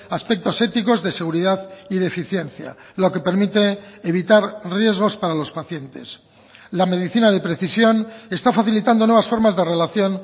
aspectos éticos de seguridad y de eficiencia lo que permite evitar riesgos para los pacientes la medicina de precisión está facilitando nuevas formas de relación